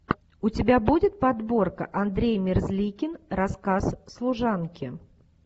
у тебя будет подборка андрей мерзликин рассказ служанки